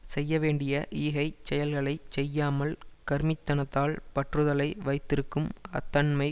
செய்யவேண்டிய ஈகைச் செயல்களை செய்யாமல் கருமித்தனத்தால் பற்றுதலை வைத்திருக்கும் அத்தன்மை